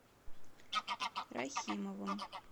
рахимовым